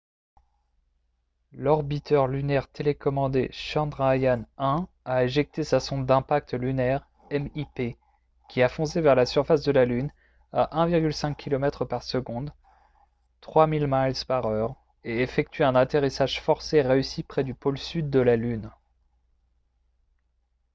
l'orbiteur lunaire télécommandé chandrayaan-1 a éjecté sa sonde d'impact lunaire mip qui a foncé vers la surface de la lune à 1,5 kilomètres par seconde 3000 miles par heure et effectué un atterrissage forcé réussi près du pôle sud de la lune